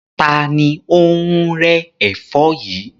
Ta ni ó ń rẹ́ ẹ̀fọ́ yìí?